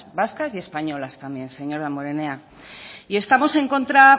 vascas y españolas también señor damborenea y estamos en contra